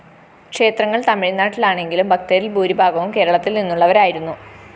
ക്ഷേത്രങ്ങള്‍ തമിഴ്‌നാട്ടിലാണെങ്കിലും ഭക്തരില്‍ ഭൂരിഭാഗവും കേരളത്തില്‍ നിന്നുള്ളവരായിരുന്നു